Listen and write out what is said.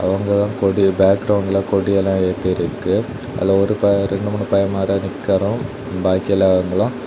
நாங்க தான். கொடி பேக்ரவுண்ட்ல கொடி எல்லாம் ஏத்திருக்கு அதுல ஒரு பைய ரெண்டு மூணு பையமாரு நிக்கிறோம் பாக்கி எல்லாவங்களும்.